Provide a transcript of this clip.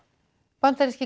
bandaríski